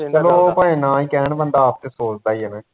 ਲੋਕ ਭਾਂਵੇ ਨਾ ਵੀ ਕਹਿਣ ਬੰਦਾ ਆਪ ਤੇ ਸੋਚਦਾ ਈ ਆ ਨਾ